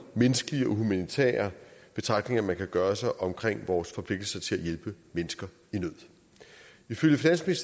menneskelige og humanitære betragtninger man kan gøre sig om vores forpligtelser til at hjælpe mennesker i nød ifølge